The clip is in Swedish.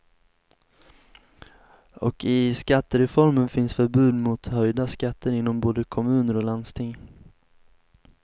Och i skattereformen finns förbud mot höjda skatter inom både kommuner och landsting.